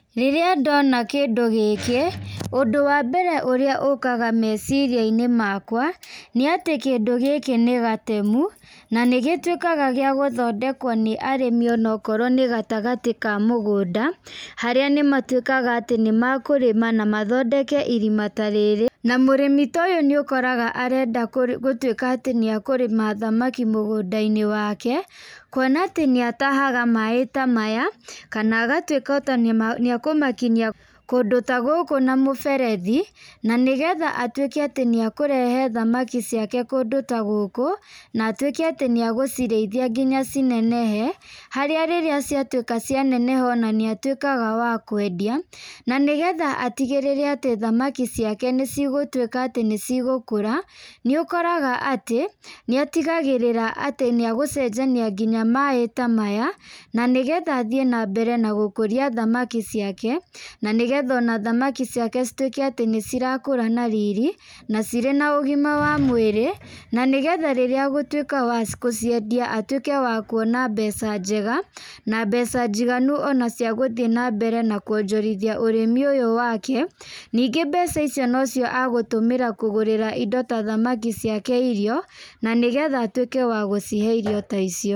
Rĩrĩa ndona kĩndũ gĩkĩ, ũndũ wa mbere ũrĩa ũkaga meciria-inĩ makwa , nĩ atĩ kĩndũ gĩkĩ nĩ gatemu, na nĩ gĩtwĩkaga gĩa gũthondekwo nĩ arĩmi ona akorwo nĩ gatagatĩ ka mũgũnda, harĩa nĩmatwĩkaga atĩ nĩ makũrĩma na mathondeke irima ta rĩrĩ, mũrĩmi ta ũyũ nĩ akoraga arenda gũtwĩka atĩ nĩ akũrĩma thamaki mũgũnda-inĩ wake, kwona atĩ nĩ atahaga maaĩ ta maya, kana agatwĩka ona nĩ akũmakinyia kũndũ ta gũkũ na mũberethi , na nĩgetha atwĩke atĩ nĩ akũrehe thamaki ciake kũndũ ta gũkũ , na atwĩke atĩ nĩ agũcirĩithia na cinenehe, harĩa rĩrĩa ciatwĩka cia neneha nĩ atwĩkaga wa kwendia, na nĩgetha atigĩrĩre thamaki ciake nĩ cigũtwĩka atĩ nĩ cigũkũra, nĩ ũkoraga atĩ nĩ atigagĩrĩra atĩ nginya gũcenjania maaĩ ta maya , nĩgetha athiĩ na mbere na kũrĩithia thamaki ciake, na nĩgetha thamaki ciake citwĩke atĩ nĩ ciakũra na rĩrĩ, na cirĩ na ũgima wa mwĩrĩ, na nĩgetha rĩrĩa agũtwĩka wa gũciendia atwĩke wa kuona mbeca njega, na mbeca njiganu cia gũthiĩ na mbere na kwonjorithia ũrĩmi ũyũ wake, ningĩ mbeca ici no cio agũtũmĩra kũgũrĩra indo ta thamaki ciake irio, na nĩgetha atwĩke wa gũcihe irio ta icio.